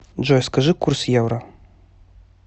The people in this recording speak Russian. джой скажи курс евро